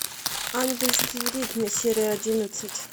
ангельские ритмы серия одиннадцать